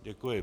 Děkuji.